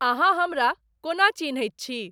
अहाँ हमरा कोना चिन्हैत छी?